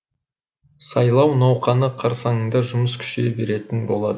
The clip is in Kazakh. сайлау науқаны қарсаңында жұмыс күшейе беретін болады